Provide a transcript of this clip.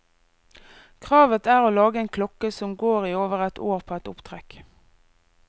Kravet er å lage en klokke som går i over et år på ett opptrekk.